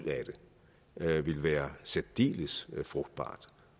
af det vil være særdeles frugtbart